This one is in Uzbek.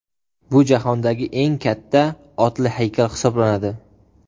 Bu jahondagi eng katta otli haykal hisoblanadi.